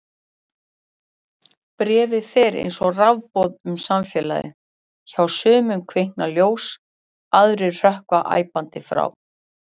Bréfið fer eins og rafboð um samfélagið: hjá sumum kvikna ljós, aðrir hrökkva æpandi frá.